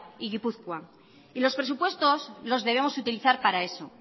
y gipuzkoa y los presupuestos los debemos utilizar para eso